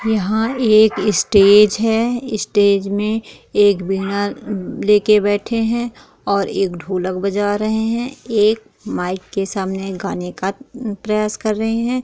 यहाँ एक स्टेज है स्टेज मे एक वीणा ले के बैठे हैं और एक ढोलक बजा रहे हैं एक माइक के सामने गाने का प्रयास कर रहे हैं।